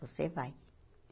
Você vai.